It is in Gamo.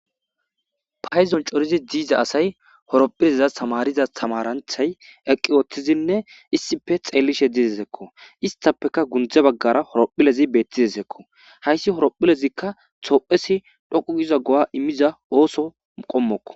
Paydon cordi diza asay horphphille tamariza tamaranchchay eqqi uttidinne issippe xeellishe dizayssakko. Istappekka gunde baggara horphphillezi beettidesikko. Hayssi tophphiyas dhoqqu giza go'a immiza ooso qommokko.